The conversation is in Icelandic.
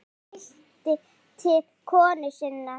Hann mælti til konu sinnar